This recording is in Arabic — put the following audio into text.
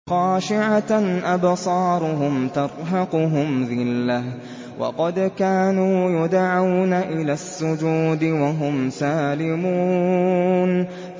خَاشِعَةً أَبْصَارُهُمْ تَرْهَقُهُمْ ذِلَّةٌ ۖ وَقَدْ كَانُوا يُدْعَوْنَ إِلَى السُّجُودِ وَهُمْ سَالِمُونَ